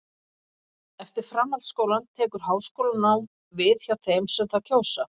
eftir framhaldsskólann tekur háskólanám við hjá þeim sem það kjósa